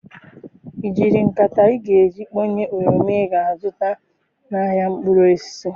I jiri nkata ị ga-eji kponye oroma ị ga-azụta n'ahịa mkpụrụ osisi?